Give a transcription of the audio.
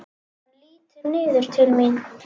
Hann lítur niður til mín.